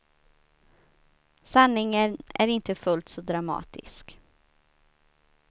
Sanningen är inte fullt så dramatisk.